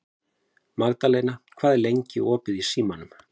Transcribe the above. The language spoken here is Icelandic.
Magðalena, hvað er lengi opið í Símanum?